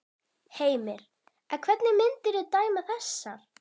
Heimir: En hvernig myndirðu dæma þessar?